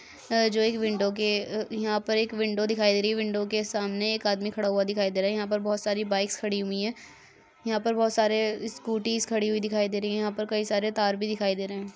जो एक विंडो के यहाँ पर एक विंडो दिखाई दे रही है विंडो के सामने एक आदमी खड़ा हुआ दिखाई देरहा है यहाँ पर बहुत सारी बाइक्स खड़ी हुई हैं यहाँ पे बहुत सारे स्कूटीस खड़ी हुई दिखाई दे रही हैं यहाँ पइ कई सारे तार भी दिखाई दे रहे हैं।